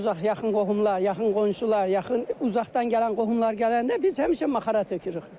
Uzaq-yaxın qohumlar, yaxın qonşular, uzaqdan gələn qohumlar gələndə biz həmişə maxara tökürük.